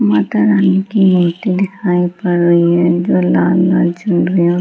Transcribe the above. माता रानी की मूर्ति दिखाई पड़ रही है जो लाल-लाल जल रही और--